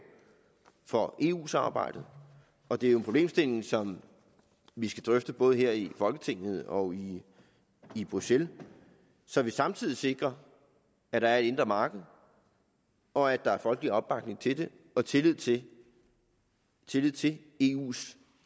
for eu samarbejdet og det er jo en problemstilling som vi skal drøfte både her i folketinget og i i bruxelles så vi samtidig sikrer at der er et indre marked og at der er folkelig opbakning til det og tillid til tillid til eus